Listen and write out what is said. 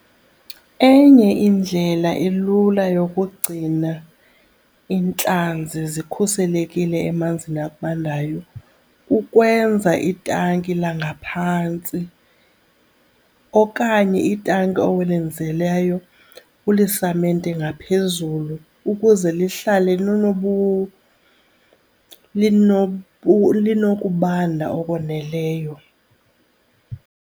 Enye indlela elula yokugcina iintlanzi zikhuselekile emanzini abandayo kukwenza itanki langaphantsi okanye itanki olenzileyo ulisamente ngaphezulu ukuze lihlale linokubanda okwaneleyo.